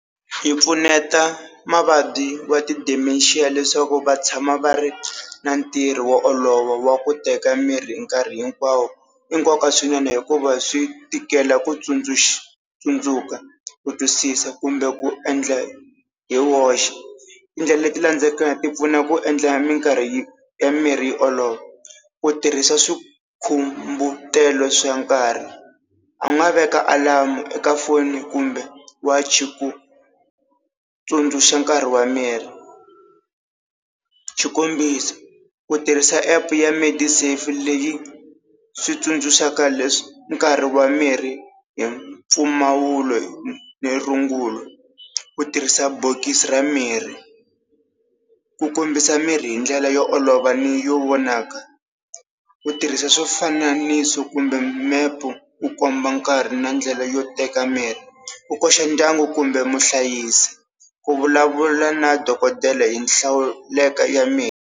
Yi pfuneta mavabyi wa ti-Dementia leswaku va tshama va ri na ntirho wo olova wa ku teka mirhi hi nkarhi hinkwawo, i nkoka swinene hikuva swi tikela ku tsundzuxa, tsundzuka ku twisisa kumbe ku endla hi woxe. Tindlela leti landzelaka ti pfuna ku endla minkarhi ya mirhi yi olova, ku tirhisa swikhumbutelo swa nkarhi a nga veka alamu eka foni kumbe wachi ku tsundzuxa nkarhi wa mirhi. Xikombiso ku tirhisa app ya made safe leyi swi tsundzuxa leswi nkarhi wa mirhi hi mpfumawulo ni rungula ku tirhisa bokisi ra mirhi, ku kombisa mirhi hi ndlela yo olova ni yo vonaka, ku tirhisa swifananiso kumbe mepe u komba nkarhi na ndlela yo teka mirhi, ku koxa ndyangu kumbe muhlayisi, ku vulavula na dokodela hi hlawuleko ya mirhi.